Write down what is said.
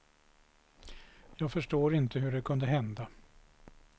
Jag förstår inte hur det kunde hända.